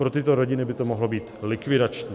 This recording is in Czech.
Pro tyto rodiny by to mohlo být likvidační.